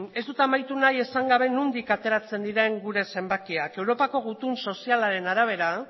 ez dut amaitu nahi esan gabe nondik ateratzen diren zenbakiak europako gutun sozialaren arabera